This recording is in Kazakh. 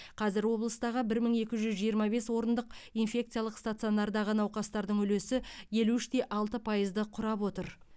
қазір облыстағы бір мың екі жүз жиырма бес орындық инфекциялық стационардағы науқастардың үлесі елу үш те алты пайызды құрап отыр